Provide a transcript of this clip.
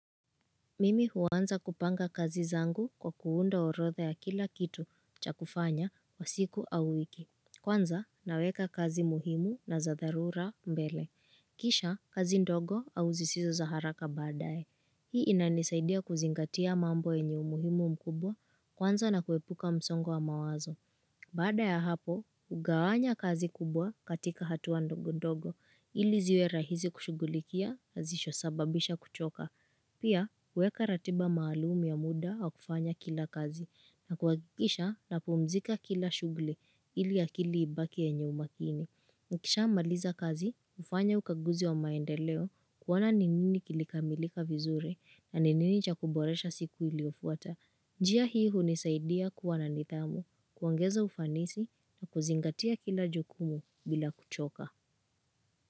Mimi huweza kupanga kazi zangu kwa kuunda orotha ya kila kitu cha kufanya kwa siku au wiki. Kwanza naweka kazi muhimu na za dharura mbele. Kisha kazi ndogo au zisizo za haraka badae. Hii inanisaidia kuzingatia mambo yenyu muhimu mkubwa kwanza na kuepuka msongo wa mawazo. Badae ya hapo, ugawanya kazi kubwa katika hatua ndogo ndogo ili ziwe rahisi kushugulikia hazisho sababisha kuchoka. Pia, uweka ratiba maalum ya muda au kufanya kila kazi na kuhakikisha napuumzika kila shughuli ili akili ibaki yenye umakini. Nikisha maliza kazi, hufanya ukaguzi wa maendeleo kuona ni nini kilikamilika vizuri na ni nini cha kuboresha siku iliyofuata. Njia hii hunisaidia kuwana nidhamu, kuongeza ufanisi na kuzingatia kila jukumu bila kuchoka.